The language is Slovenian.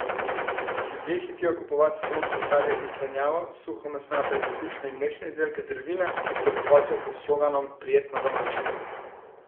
Ljudje hitijo kupovat sezonsko sadje in zelenjavo, suhomesnate, krušne in mlečne izdelke ter vina, ki se bohotijo pod sloganom Prijetno domače.